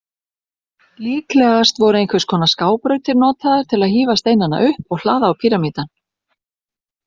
Líklegast voru einhvers konar skábrautir notaðar til að hífa steinana upp og hlaða á píramídann.